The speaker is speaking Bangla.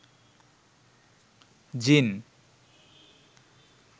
জ্বিন